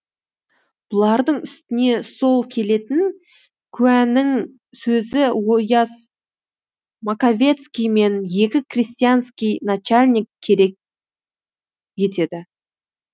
бұлардың үстіне сол келетін куәның сөзін ояз маковецкий мен екі крестьянский начальник керек етеді